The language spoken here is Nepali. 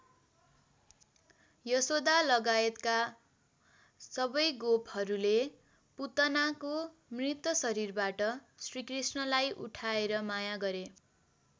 यशोदालगाएत सबै गोपहरूले पुतनाको मृत शरीरबाट श्रीकृष्णलाई उठाएर माया गरे।